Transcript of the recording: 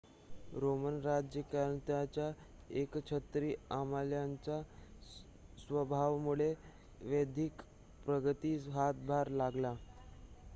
Roman राज्यकर्त्यांच्या एकछत्री अंमलाच्या स्वभावामुळे वैद्यकीय प्रगतीस हातभार लागला